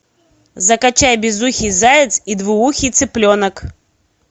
закачай безухий заяц и двуухий цыпленок